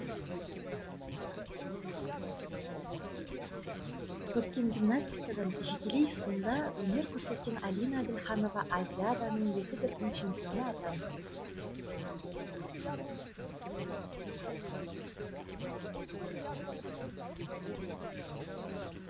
көркем гимнастикадан жекелей сында өнер көрсеткен алина әділханова азиаданың екі дүркін чемпионы атанды